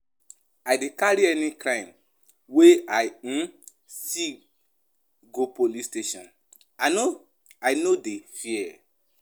I dey carry any crime wey I um see go police station, I no I no dey fear.